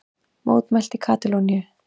Mótmælt í Katalóníu